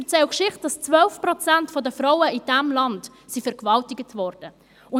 Sie erzählen die Geschichte, dass 12 Prozent der Frauen in diesem Land vergewaltigt worden sind.